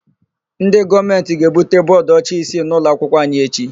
Ndị gọọmentị ga-ebute bọọdụọcha isii n'ụlọakwụkwọ anyị echi.